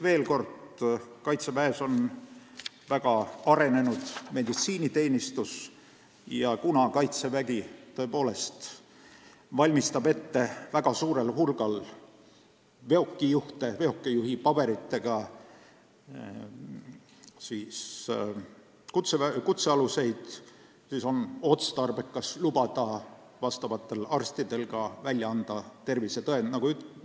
Veel kord: Kaitseväes on väga arenenud meditsiiniteenistus ja kuna Kaitsevägi tõepoolest valmistab ette väga suurel hulgal veokijuhte, veokijuhi paberitega kutsealuseid, siis on otstarbekas lubada Kaitseväes töötavatel arstidel ka see tervisetõend välja anda.